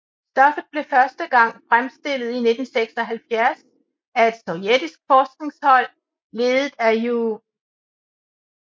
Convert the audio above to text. Stoffet blev første gang fremstillet i 1976 af et sovjetisk forskninghold ledet af Ju